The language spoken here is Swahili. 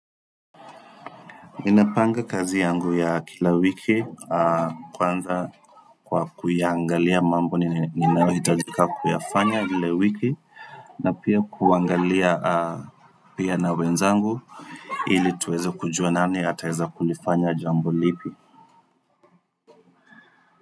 Ninapanga kazi yangu ya kila wiki kwanza kwa kuiangalia mambo ninaohitajika kuyafanya lile wiki na pia kuangalia pia na wenzangu ili tuweze kujua nani ataeza kulifanya jambo lipi.